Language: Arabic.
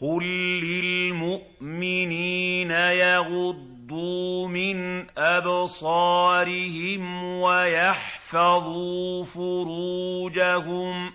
قُل لِّلْمُؤْمِنِينَ يَغُضُّوا مِنْ أَبْصَارِهِمْ وَيَحْفَظُوا فُرُوجَهُمْ ۚ